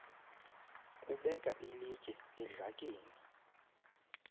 kubeka ilitye edlakeni